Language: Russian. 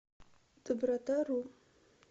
добротару